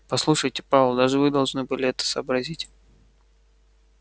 послушайте пауэлл даже вы должны были бы это сообразить